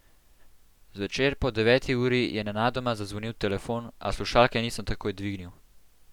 Zvečer po deveti uri je nenadoma zazvonil telefon, a slušalke nisem takoj dvignil.